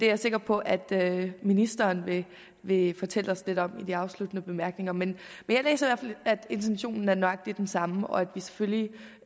jeg sikker på at ministeren vil vil fortælle os lidt om i de afsluttende bemærkninger men jeg læser at intentionen er nøjagtig den samme og at vi selvfølgelig